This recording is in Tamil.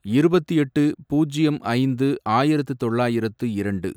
இருபத்து எட்டு, பூஜ்யம் ஐந்து, ஆயிரத்து தொள்ளாயிரத்து இரண்டு